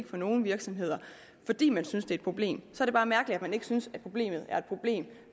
for nogle virksomheder fordi man synes det er et problem så er det mærkeligt at man ikke synes at problemet er et problem